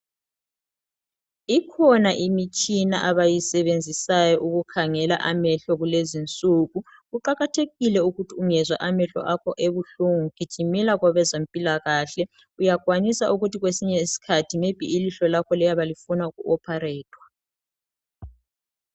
Ikhona imitshina abayisevenzisayo ukukhangela amehlo kulezinsuku, kuqakathekile ukuthi ungezwa amahlo akho ebuhlungu gijimela kwabezempilakahle, uyakwanisa ukuthi kwesisinye isikhathi maybe ilihlo lakho liyabe lifuna uku opharethwa.